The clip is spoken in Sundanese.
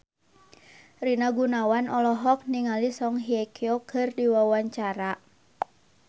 Rina Gunawan olohok ningali Song Hye Kyo keur diwawancara